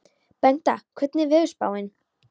Bengta, hvernig er veðurspáin?